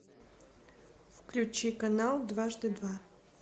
включи канал дважды два